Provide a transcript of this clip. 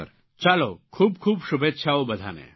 ચાલો ખૂબ ખૂબ શુભેચ્છાઓ બધાને